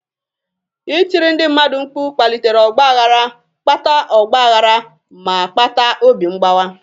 Ịtiri ndị mmadụ mkpu kpalitere ọgba aghara, kpata ọgba aghara, ma kpata obi mgbawa.